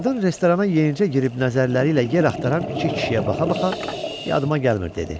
Qadın restorana yenicə girib nəzərləri ilə yer axtaran iki kişiyə baxa-baxa yadıma gəlmir," dedi.